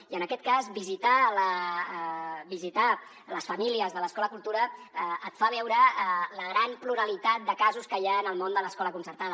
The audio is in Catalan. i en aquest cas visitar les famílies de l’acadèmia cultura et fa veure la gran pluralitat de casos que hi ha en el món de l’escola concertada